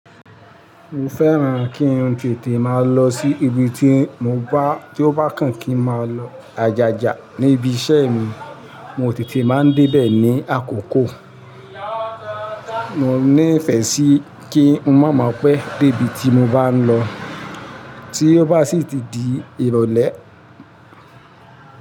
Mo fẹ́ran kí n tètè máa lọ sí ibi tí mo bá, tí ó bá kàn kí ń máa lọ ajajaa. Ní ibi iṣẹ́ mi, mo tètè máa ń dé bẹ̀ ní àkókò. Mo ní ìfẹ́ sí kí n má mọ pé dé ibi tí mo bá ń lọ tí ó bá sì ti di ìrọ̀lẹ́